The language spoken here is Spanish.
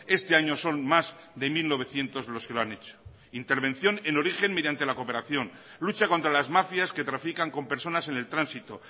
este año son más de mil novecientos los que lo han hecho intervención en origen mediante la cooperación lucha contra las mafias que trafican con personas en el tránsito